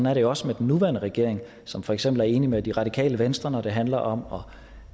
er det jo også med den nuværende regering som for eksempel er enige med det radikale venstre når det handler om